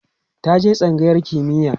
ka je tsangayar kimiya!